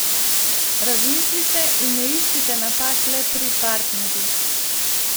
Razmislite in ne iščite napak le pri partnerju.